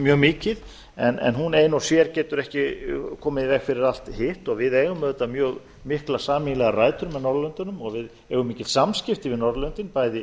mjög mikið en hún ein og sér getur ekki komið í veg fyrir allt hitt við eigum auðvitað mjög miklar sameiginlegar rætur á norðurlöndunum við eigum mikil samskipti við norðurlöndin bæði